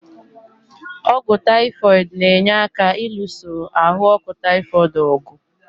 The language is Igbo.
Ọ́gwụ́ taịfoid na-enye aka ịlụso ahụ ọkụ taịfoid ọ̀gwụ̀.